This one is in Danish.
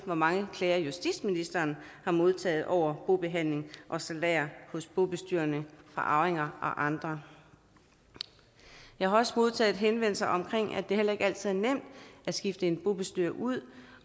hvor mange klager justitsministeren har modtaget over bobehandling og salærer hos bobestyrerne fra arvinger og andre jeg har også modtaget henvendelser om at det heller ikke altid er nemt at skifte en bobestyrer ud